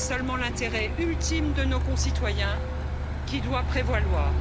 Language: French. C'est seulement l'intérêt ultime de nos concitoyens qui doit prévaloir.